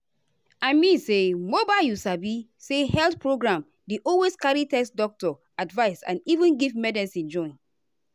i mean say mobile you sabi say health programndey always carry test doctor advice and even give medicine join.